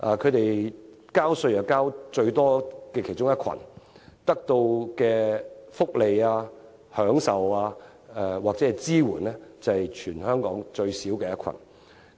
他們屬於納稅最高的其中一群，得到的福利、享受或支援卻是全港最少的一群。